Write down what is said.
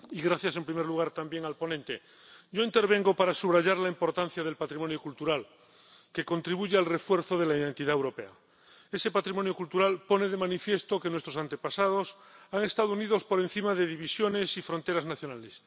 Señora presidenta, gracias, en primer lugar, también al ponente. Yo intervengo para subrayar la importancia del patrimonio cultural, que contribuye al refuerzo de la identidad europea. Ese patrimonio cultural pone de manifiesto que nuestros antepasados han estado unidos por encima de divisiones y fronteras nacionales.